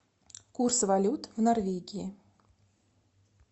курс валют в норвегии